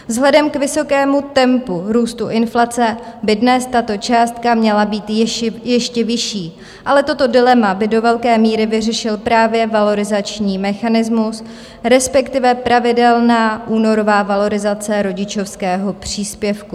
Vzhledem k vysokému tempu růstu inflace by dnes tato částka měla být ještě vyšší, ale toto dilema by do velké míry vyřešil právě valorizační mechanismus, respektive pravidelná únorová valorizace rodičovského příspěvku.